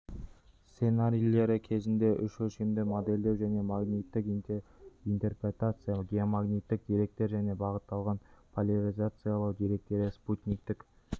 сценарийлері кезінде үш өлшемді модельдеу және магниттік интерпретация геомагниттік деректер және бағытталған поляризациялау деректері спутниктік